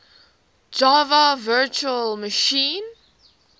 java virtual machine